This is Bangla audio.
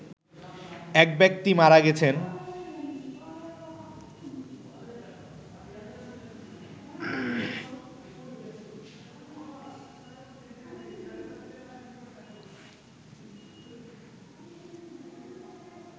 একব্যক্তি মারা গেছেন